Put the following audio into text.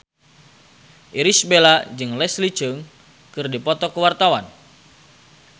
Irish Bella jeung Leslie Cheung keur dipoto ku wartawan